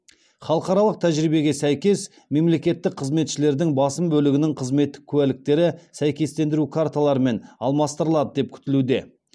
халықаралық тәжірибеге сәйкес мемлекеттік қызметшілердің басым бөлігінің қызметтік куәліктері сәйкестендіру карталарымен алмастырылады деп күтілуде